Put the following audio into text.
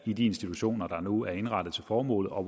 i de institutioner der nu er indrettet til formålet og